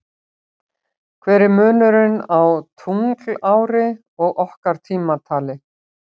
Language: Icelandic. Hver er munurinn á tunglári og okkar tímatali?